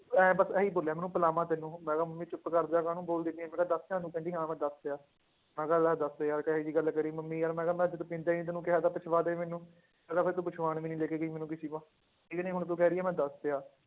ਇਉਂ ਬਸ ਇਹੀ ਬੋਲਿਆ ਮੈਨੂੰ ਪਿਲਾਵਾਂ ਤੈਨੂੰ ਮੈਂ ਕਿਹਾ ਮੰਮੀ ਚੁੱਪ ਕਰ ਜਾ ਕਾਹਨੂੰ ਬੋਲਦੀ ਪਈ ਹੈ, ਮੈਂ ਕਿਹਾ ਦੱਸ ਦਿੱਤਾ ਤੂੰ, ਕਹਿੰਦੀ ਹਾਂ ਮੈਂ ਦੱਸਿਆ ਮੈਂ ਕਿਹਾ ਲੈ ਦੱਸ ਯਾਰ ਕਿਹੀ ਜਿਹੀ ਗੱਲ ਕਰੀ ਮੰਮੀ ਯਾਰ ਮੈਂ ਕਿਹਾ ਮੈਂ ਜਦ ਪੀਂਦਾ ਹੀ ਨੀ ਤੈਨੂੰ ਕਿਹਾ ਤਾਂ ਪਿਛਵਾਦੇ ਮੈਨੂੰ, ਮੈਂ ਕਿਹਾ ਫਿਰ ਤੂੰ ਪੁੱਛਵਾਉਣ ਵੀ ਨੀ ਲੈ ਕੇ ਗਈ ਮੈਨੂੰ ਕਿਸੇ ਕੋਲ, ਠੀਕ ਨੀ ਹੁਣ ਤੂੰ ਕਹਿ ਰਹੀ ਹੈ ਮੈਂ ਦੱਸਿਆ,